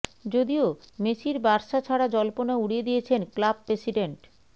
যদিও মেসির বার্সা ছাড়া জল্পনা উড়িয়ে দিয়েছেন ক্লাব প্রেসিডেন্ট